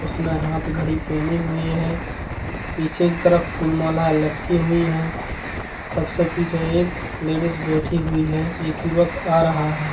उसने हाथ घड़ी पहनी हुई है पीछे की तरफ फूलमाला लटकी हुई है सबसे पीछे एक लेडिस बैठी हुई है एक युवक आ रहा हैं।